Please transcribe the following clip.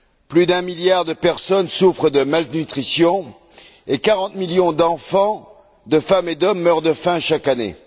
Plus d'un milliard de personnes souffrent de malnutrition et 40 millions d'enfants, de femmes et d'hommes meurent de faim chaque année.